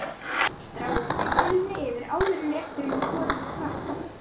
Stráið steinseljunni yfir áður en rétturinn er borinn á borð.